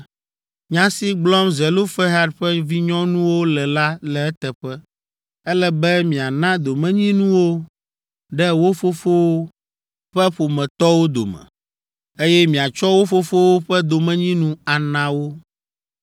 “Nya si gblɔm Zelofehad ƒe vinyɔnuwo le la le eteƒe. Ele be miana domenyinu wo ɖe wo fofowo ƒe ƒometɔwo dome, eye miatsɔ wo fofowo ƒe domenyinu ana wo.